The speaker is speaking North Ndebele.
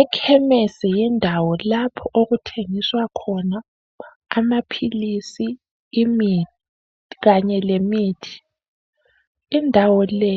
Ekhemesi yindawo lapho okuthengiswa khona amaphilisi, imithi ,kanye lemithi indawo le